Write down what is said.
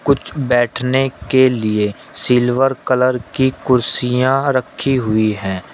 कुछ बैठने के लिए सिल्वर कलर की कुर्सियां रखी हुई हैं।